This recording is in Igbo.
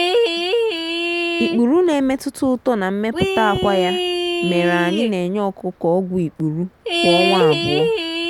ikpuru na-emetụta uto na mmepụta akwa ya mere anyị na-enye ọkụkọ ọgwụ ikpuru kwa ọnwa abụọ.